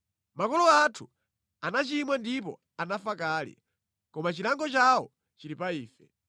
Makolo athu anachimwa ndipo anafa kale, koma chilango chawo chili pa ife.